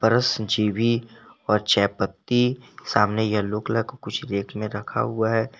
Brush जीभी और चायपत्ती सामने येलो कलर का कुछ रेक में रखा हुआ है।